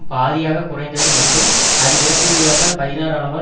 பாதியாக குறைந்தது மற்றும் அது இறப்பு வீதத்தால் பதினாறு அளவால்